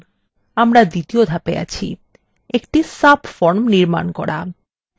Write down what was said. আমরা দ্বিতীয় ধাপে আছি একটি subform নির্মান করা